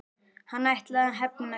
Hann ætlaði að hefna sín!